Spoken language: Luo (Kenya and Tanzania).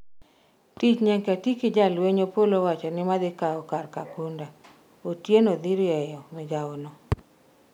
tich nyaka ti ki jolweny Opolo owacho ni madhi kawo kar Kakunda, Otieno dhi rieyo migawo no